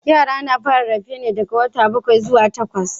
Yara suna fara rarrafe da wata bakwai zuwa takwas